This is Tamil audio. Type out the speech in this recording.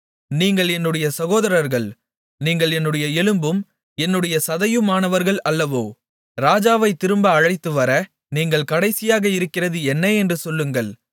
நீங்கள் என்னுடைய சகோதரர்கள் நீங்கள் என்னுடைய எலும்பும் என்னுடைய சதையுமானவர்கள் அல்லவோ ராஜாவைத் திரும்ப அழைத்துவர நீங்கள் கடைசியாக இருக்கிறது என்ன என்று சொல்லுங்கள்